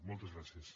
moltes gràcies